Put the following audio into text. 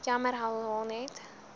jammer herhaal net